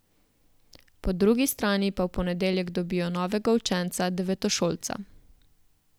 Po drugi strani pa v ponedeljek dobijo novega učenca, devetošolca.